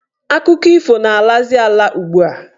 Akụkọ ifo na-alazi ala ugbua.